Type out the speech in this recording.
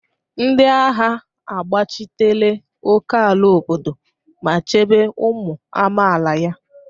Ndị agha gbachitere ókèala obodo ma chebe ụmụ amaala ya.